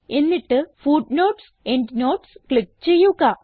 എന്നിട്ട് footnotes endnotes click ചെയ്യുക